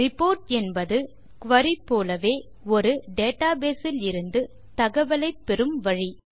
report என்பது குரி போலவே ஒரு டேட்டாபேஸ் இலிருந்து தகவலை பெறும் வழி